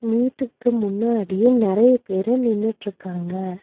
மீட்டுக்கு முன்னாடி நெறைய பேரு நின்னிட்ருக்காங்க.